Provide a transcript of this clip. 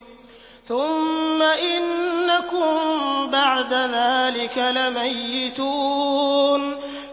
ثُمَّ إِنَّكُم بَعْدَ ذَٰلِكَ لَمَيِّتُونَ